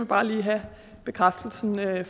bare lige have bekræftelsen af